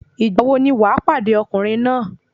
Ìgbà wo ni wà pàdé ọkùnrin náà?